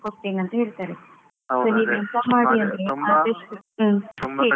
ಕಡಿಮೆ ಕೊಡ್ತೇನಂತ ಹೇಳ್ತಾರೆ so ನೀವು ಎಂತ ಮಾಡಿ ಅಂದ್ರೆ